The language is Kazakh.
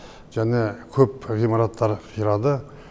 және көп ғимараттар қирады